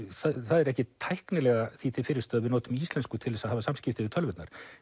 er ekkert tæknilega því til fyrirstöðu að við notum íslensku til þess að hafa samskipti við tölvurnar